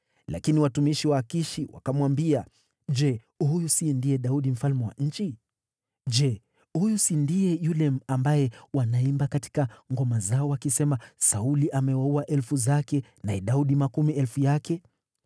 Lakini watumishi wa Akishi wakamwambia, “Je, huyu si ndiye Daudi mfalme wa nchi? Je, huyu si ndiye yule ambaye wanaimba katika ngoma zao wakisema: “ ‘Sauli amewaua elfu zake, naye Daudi makumi elfu yake’?”